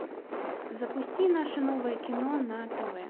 запусти наше новое кино на тв